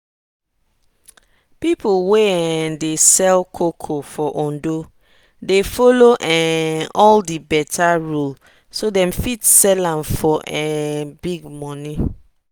people wey um dey sell cocoa for ondo dey follow um all the better rule so dem fit sell am for um big money.